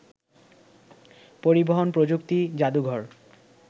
পরিবহন প্রযুক্তি জাদুঘর